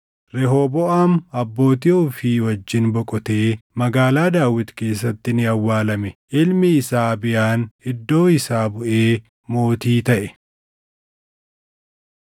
Rehooboʼaam abbootii ofii wajjin boqotee Magaalaa Daawit keessatti ni awwaalame. Ilmi isaa Abiyaan iddoo isaa buʼee mootii taʼe.